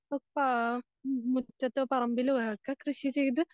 അപ്പൊ മുറ്റത്തോ പറമ്പിലോ ഒക്കെ കൃഷി ചെയ്ത്